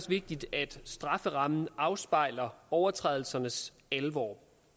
vigtigt at strafferammen afspejler overtrædelsernes alvor